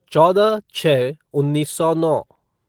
चौदह छः उन्नीस सौ नौ